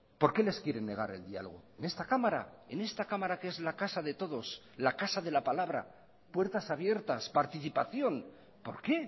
por qué les quieren negar el diálogo en esta cámara en esta cámara que es la casa de todos la casa de la palabra puertas abiertas participación por qué